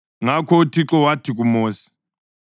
Ngakho uThixo wathi kuMosi,